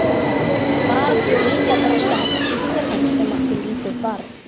Þar bjó líka þroskaheft systir hans sem átti lítið barn.